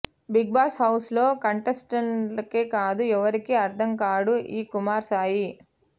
big Boss house లో contestants కే కాదు ఎవరికి అర్థం కాడు ఈ కుమార్ సాయి